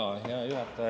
Hea juhataja!